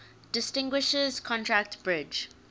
distinguishes contract bridge